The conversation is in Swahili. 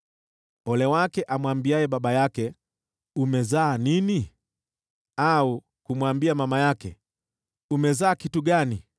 Ole wake amwambiaye baba yake, ‘Umezaa nini?’ Au kumwambia mama yake, ‘Umezaa kitu gani?’